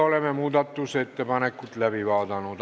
Oleme muudatusettepanekud läbi vaadanud.